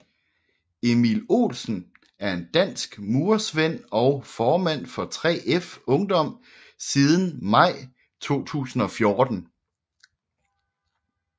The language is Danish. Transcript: Emil Olsen er en dansk murersvend og formand for 3F Ungdom siden maj 2014